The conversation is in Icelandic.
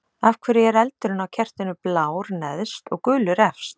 Af hverju er eldurinn á kertinu blár neðst og gulur efst?